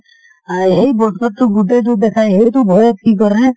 আই সেই বছৰটো গোটেই টো দেখাই , সেইটো ভয়ত কি কৰে